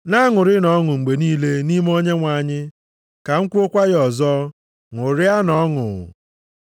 Na-aṅụrịnụ ọṅụ mgbe niile nʼime Onyenwe anyị. Ka m kwuokwa ya ọzọ, ṅụrịanụ ọṅụ!